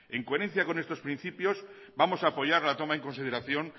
en coherencia con estos principios vamos a apoyar la toma en consideración